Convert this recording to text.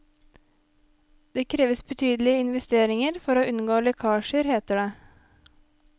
Det kreves betydelige investeringer for å unngå lekkasjer, heter det.